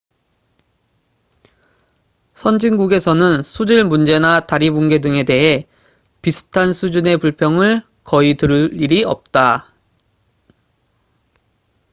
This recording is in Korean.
선진국에서는 수질 문제나 다리 붕괴 등에 대해 비슷한 수준의 불평을 거의 들을 일이 없다